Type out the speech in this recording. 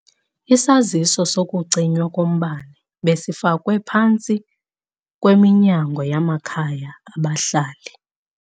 Isaziso sokucinywa kombane besifakwe phantsi kweminyango yamakhaya abahlali.